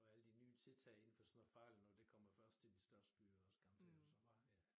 Og alle de nye tiltag inden for sådan noget farligt noget det kommer først til de største også byer garanteret og så bare ja